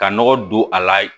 Ka nɔgɔ don a la